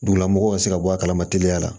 Dugulamɔgɔw ka se ka bɔ a kalama teliya la